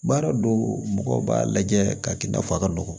Baara do mɔgɔw b'a lajɛ k'a kɛ i n'a fɔ a ka nɔgɔn